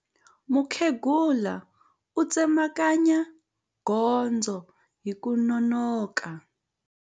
Mukhegula u tsemakanya gondzo hi ku nonoka.